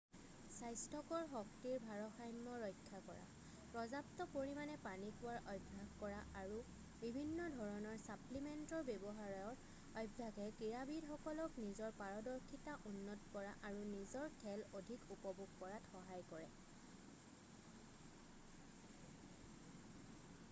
স্বাস্থ্যকৰ শক্তিৰ ভাৰসাম্য ৰক্ষা কৰা পৰ্যাপ্ত পৰিমাণে পানী খোৱাৰ অভ্যাস কৰা আৰু বিভিন্ন ধৰণৰ ছাপ্লিমেণ্টৰ ব্যৱহাৰৰ অভ্যাসে ক্ৰীড়াবিদসকলক নিজৰ পাৰদৰ্শিতা উন্নত কৰা আৰু নিজৰ খেল অধিক উপভোগ কৰাত সহায় কৰে